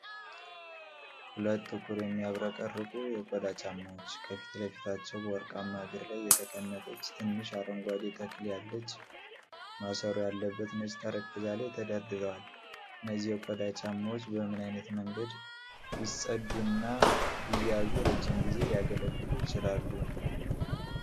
ሁለት ጥቁር የሚያብረቀርቁ የቆዳ ጫማዎች፣ ከፊት ለፊታቸው በወርቃማ እግር ላይ የተቀመጠች ትንሽ አረንጓዴ ተክል ያለች ማሰሮ ያለበት ነጭ ጠረጴዛ ላይ ተደርድረዋል፤ እነዚህ የቆዳ ጫማዎች በምን ዓይነት መንገድ ቢጸዱና ቢያዙ ረጅም ጊዜ ሊያገለግሉ ይችላሉ?